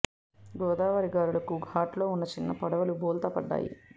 గోదావరి గాలులకు ఘాట్లో ఉన్న చిన్న పడవలు బోల్తా పడ్డాయి